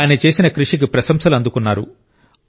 ఆయన చేసిన కృషికి ప్రశంసలు అందుకున్నారు